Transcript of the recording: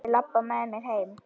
Viltu labba með mér heim?